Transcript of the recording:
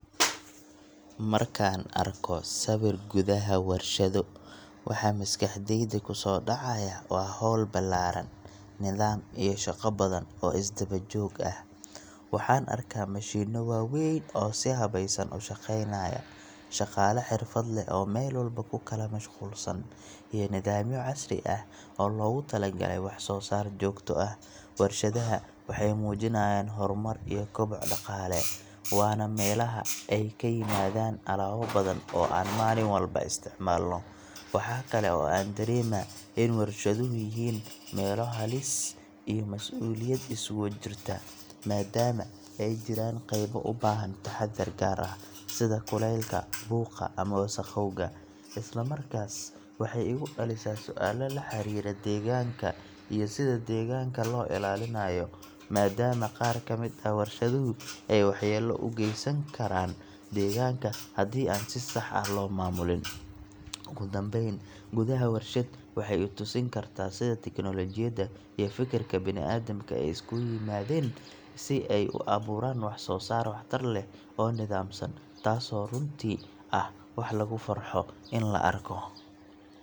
Markaan arko sawirka gudaha warshado, waxa maskaxdayda kusoo dhacaya waa howl ballaaran, nidaam iyo shaqo badan oo is daba-joog ah. Waxaan arkaa mashiinno waaweyn oo si habaysan u shaqaynaya, shaqaale xirfad leh oo meel walba ku kala mashquulsan, iyo nidaamyo casri ah oo loogu talagalay wax-soo-saar joogto ah. Warshadaha waxay muujinayaan horumar iyo koboc dhaqaale, waana meelaha ay ka yimaadaan alaabo badan oo aan maalin walba isticmaalno. Waxa kale oo aan dareemaa in warshaduhu yihiin meelo halis iyo mas’uuliyad isugu jirta, maadaama ay jiraan qaybo u baahan taxaddar gaar ah, sida kuleylka, buuqa, ama wasakhowga. Isla markaas, waxay igu dhalisaa su’aalo la xiriira deegaanka iyo sida deegaanka loo ilaalinayo, maadaama qaar ka mid ah warshaduhu ay waxyeello u gaysan karaan deegaanka haddii aan si sax ah loo maamulin. Ugu dambayn, gudaha warshad waxay i tusin kartaa sida tiknoolajiyadda iyo fikirka bini’aadamka ay isugu yimaadeen si ay u abuuraan wax-soo-saar waxtar leh oo nidaamsan, taasoo runtii ah wax lagu farxo in la arko.